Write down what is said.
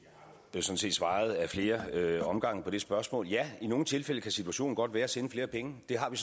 svaret ad flere omgange på det spørgsmål ja i nogle tilfælde kan situationen godt være at sende flere penge det har vi